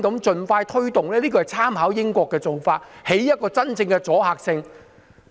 這是參考英國的做法，希望能夠收真正的阻嚇作用。